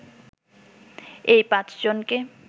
এই পাঁচজনকে